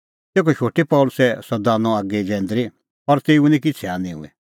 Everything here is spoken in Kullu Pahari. तेखअ शोटी पल़सी सह दानअ आगी जैंदरी और तेऊ निं किछ़ै हान्नी हुई